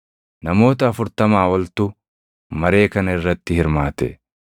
Namoota afurtamaa oltu maree kana irratti hirmaate.